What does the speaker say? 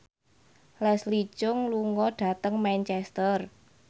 Leslie Cheung lunga dhateng Manchester